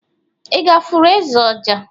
i gāfụru eze ọjà?